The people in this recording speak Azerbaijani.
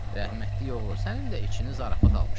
Rəhmətli oğlu, sənin də içinə zarafat almışdı.